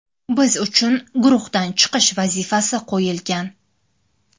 Biz uchun guruhdan chiqish vazifasi qo‘yilgan.